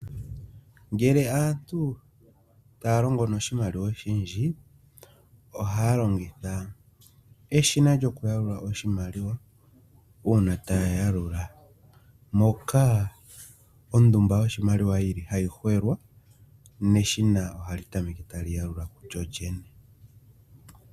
Ngele aantu taa longo noshimaliwa oshindji, ohaa longitha eshina lyokuyalula oshimaliwa uuna taa yalula moka ondumba yoshimaliwa yi li hayi hwelwa neshina ohali tameke tali yalula kulyolyene.